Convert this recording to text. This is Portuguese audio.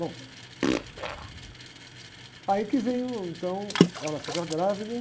Bom, aí que vem, uh, então, ela fica grávida.